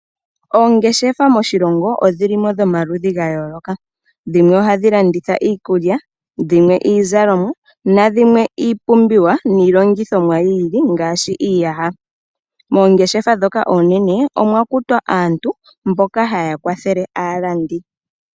Oongeshefa moshilongo odhili mo dhomaludhi ga yooloka. Dhimwe ohadhi landitha iikulya, iizalomwa, nadhimwe ohadhi landitha iipumbiwa niilongithomwa yi ili ngaashi iiyaha. Moongeshefa dhoka oonene, omwa kutwa aantu mboka haya kwathele aalandi.